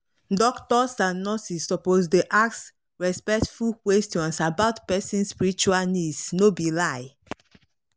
doctors and nurses suppose dey ask ask respectful questions about person spiritual needs no be lie.